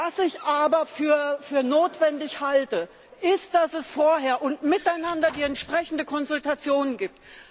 Was ich aber für notwendig halte, ist, dass es vorher und miteinander die entsprechende Konsultation gibt.